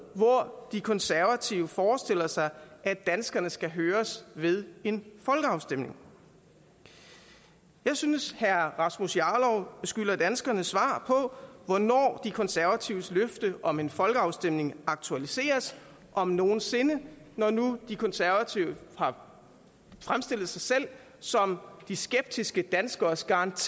hvor de konservative forestiller sig at danskerne skal høres ved en folkeafstemning jeg synes at herre rasmus jarlov skylder danskerne svar på hvornår de konservatives løfte om en folkeafstemning aktualiseres om nogen sinde når nu de konservative har fremstillet sig selv som de skeptiske danskeres garant